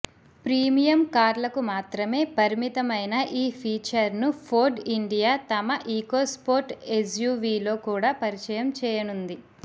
premium కార్లకు మాత్రమే పరిమితమైన ఈ ఫీచర్ను ఫోర్డ్ ఇండియా తమ ఈకోస్పోర్ట్ ఎస్యూవీలో కూడా పరిచయం చేయనుంది